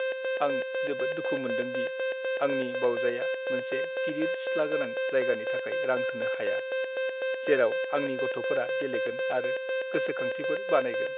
आं जोबोद दुखु मोनदों दि आंनि बावजाया मोनसे गिदिर सिथ्ला गोनां जायगानि थाखाय रां होनो हाया, जेराव आंनि गथ'फोरा गेलेगोन आरो गोसोखांथिफोर बानायगोन।